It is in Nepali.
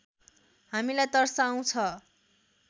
हामीलाई तर्साउँछ